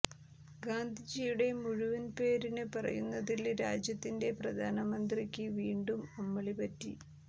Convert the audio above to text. ഗാന്ധിജിയുടെ മുഴുവന് പേര് പറയുന്നതില് രാജ്യത്തിന്റെ പ്രധാനമന്ത്രിയ്ക്ക് വീണ്ടും അമളി പറ്റി